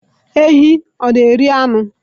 Ehi hà na-eri anụ?